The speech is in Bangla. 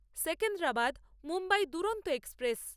সেকেন্দ্রাবাদ মুম্বাই দুরন্ত এক্সপ্রেস